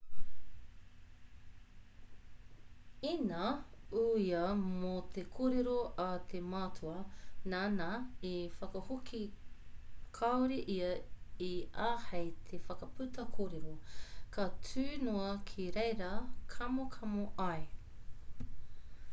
ina uia mō te kōrero a te matua nāna i whakahoki kāore ia i āhei te whakaputa kōrero ka tū noa ki reira kamokamo ai